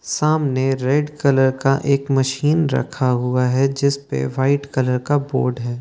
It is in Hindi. सामने रेड कलर का एक मशीन रखा हुआ है जिस पे वाइट कलर का बोर्ड है।